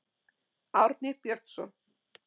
Árni Björnsson.